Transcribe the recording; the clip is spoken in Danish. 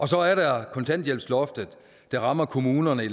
så er der kontanthjælpsloftet der rammer kommuner i